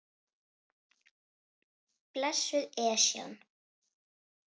Blessuð Esjan.